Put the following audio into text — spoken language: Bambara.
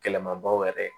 Kɛlɛma baw yɛrɛ ye